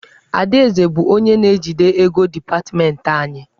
Adaeze bụ onye na-ejide ego dipatmentị anyị.